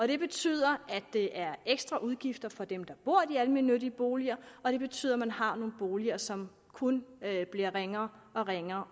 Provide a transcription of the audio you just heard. det betyder at det er ekstra udgifter for dem der bor i de almennyttige boliger og det betyder at man har nogle boliger som kun bliver ringere og ringere